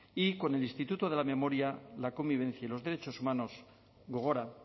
y con el instituto de la memoria la convivencia y los derechos humanos gogora